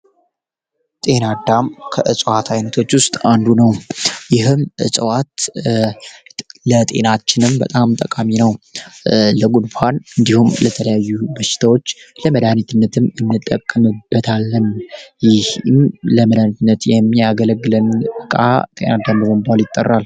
ጤናዳም ከእጸዋት ዓይነቶች ውስጥ አንዱ ነው ይህም እጸዋት ለጤናችንም በጣም ጠቃሚ ነው ለጉድፋን እንዲሁም ለተለያዩ በሽታዎች ለመዳህኔትነትም እንጠቅነደታለም ይህም ለምለንድነት የሚ ያገለግለን በቃ ጤናዳምበንቧል ይጠራል